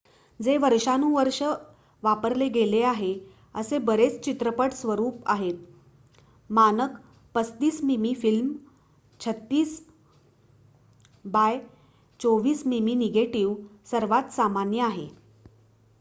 जे वर्षानुवर्षे वापरले गेले आहेत असे बरेच चित्रपट स्वरूप आहेत. मानक 35 मिमी फिल्म 36 बाय 24 मिमी निगेटिव्ह सर्वात सामान्य आहे